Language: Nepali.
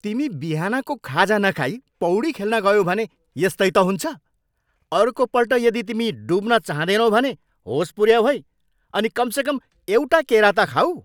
तिमी बिहानको खाजा नखाई पौडी खेल्न गयौ भने यस्तै त हुन्छ। अर्कोपल्ट यदि तिमी डुब्न चाहँदैनौ भने होस पुऱ्याऊ है अनि कमसेकम एउटा केरा त खाऊ।